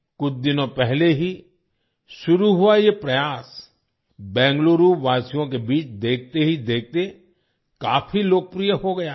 कुछ दिनों पहले ही शुरू हुआ ये प्रयास बेंगलुरूवासियों के बीच देखते ही देखते काफी लोकप्रिय हो गया है